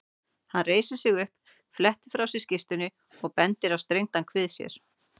Hann reisir sig upp, flettir frá sér skyrtunni og bendir á strengdan kvið sér.